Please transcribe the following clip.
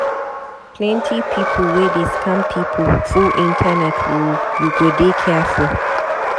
Plenty pipu wey dey scam pipu full internet o, you go dey careful.